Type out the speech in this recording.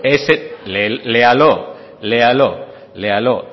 léalo léalo